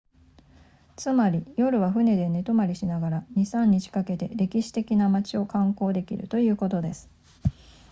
つまり夜は船で寝泊まりしながら 2～3 日かけて歴史的な街を観光できるということです